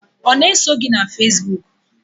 Ọ na-eso gị na Facebook?